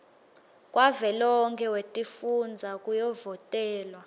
wavelonkhe wetifundza kuyovotelwa